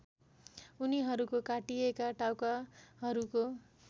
उनीहरूको काटिएका टाउकाहरूको